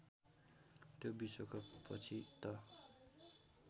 त्यो विश्वकपपछि त